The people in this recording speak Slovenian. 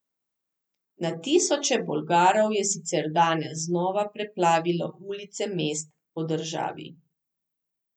Na tisoče Bolgarov je sicer danes znova preplavilo ulice mest po državi.